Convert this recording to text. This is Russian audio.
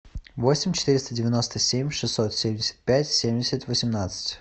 восемь четыреста девяносто семь шестьсот семьдесят пять семьдесят восемнадцать